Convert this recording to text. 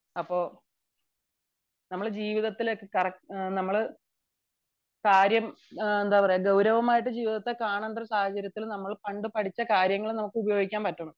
അപ്പൊ നമ്മൾ ജീവിതത്തിലെ കാര്യം ഗൗരവമായിട്ട് ജീവിതത്തെ കാണേണ്ട സമയത്തു നമ്മൾ പണ്ട് പഠിച്ച കാര്യങ്ങൾ നമുക്ക് ഉപയോഗിക്കാൻ പറ്റണം